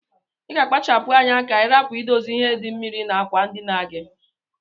Iga akpacha pu anya ka irapu idose ihe di mmiri na akwa ndina gi.